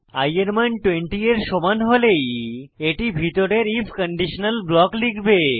i এর মান 20 এর সমান হলেই এটি ভিতরের আইএফ কন্ডিশনাল ব্লক লিখবে